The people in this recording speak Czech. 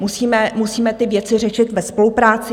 Musíme ty věci řešit ve spolupráci.